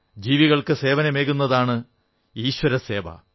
ജീവികൾക്കു സേവനമേകുന്നതാണ് ഈശ്വരസേവ